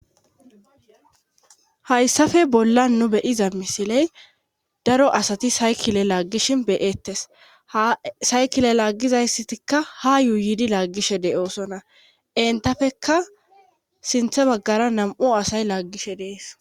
Hayssafe bolla nu bediza misiley daro asati saykile laaggishi beyettes asaykile laaggizayssatikka hayuuyidi laaggishe de'oosona entafekka sinthe maggara nam'o asay laaggishe dees.